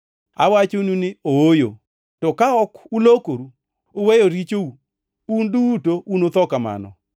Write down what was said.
Awachonu ni ooyo! To ka ok ulokoru uweyo richou, un duto unutho kamano.